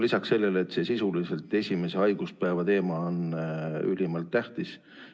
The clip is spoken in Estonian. Lisaks sellele, see sisuliselt esimese haiguspäeva teema on ülimalt tähtis.